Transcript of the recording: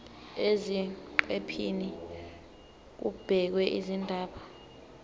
eziqephini kubhekwe izindaba